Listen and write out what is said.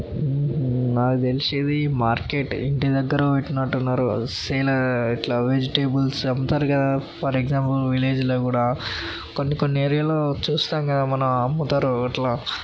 హుమ్మ్ హుమ్మ్ నాకు తెలిసి ఇది మార్కెట్ ఇంటిదగ్గర పెట్టినట్టున్నారు సేల్ వెజిటేబుల్స్ అమ్ముతారు కదా ఫర్ ఎగ్జాంపుల్ విలేజ్ లో కూడా కొన్ని కొన్ని ఏరియా లో చూస్తాం కదా మనం అమ్ముతారు ఇట్లా.